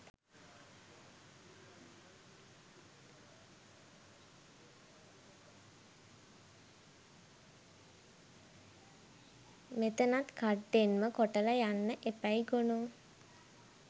මෙතනත් කඩ්ඩෙන්ම කොටල යන්න එපැයි ගොනෝ